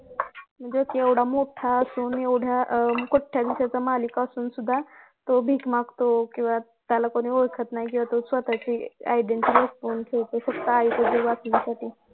म्हणजे केवढा मोठा असून एवढ्या कोट्याधीशांचा मालक असून सुधा तो भिक मागतो किंवा त्याला कोणी ओळखत नाही किंवा स्वतःची identity लपवून तो फक्त आई चा जीव वाचवण्यासाठी